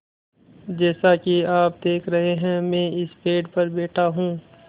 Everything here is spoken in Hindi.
जैसा कि आप देख रहे हैं मैं इस पेड़ पर बैठा हूँ